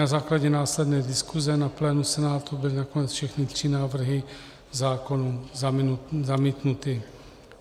Na základě následné diskuse na plénu Senátu byly nakonec všechny tři návrhy zákonů zamítnuty.